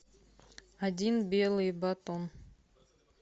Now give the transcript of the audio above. один белый батон